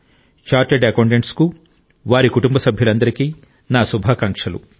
chartered accountants కు వారి కుటుంబ సభ్యులందరికీ నా శుభాకాంక్షలు